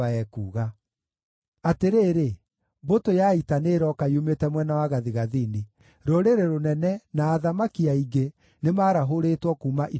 “Atĩrĩrĩ, mbũtũ ya ita nĩ ĩrooka yumĩte mwena wa gathigathini; rũrĩrĩ rũnene, na athamaki aingĩ nĩmarahũrĩtwo kuuma ituri-inĩ cia thĩ.